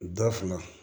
Da fana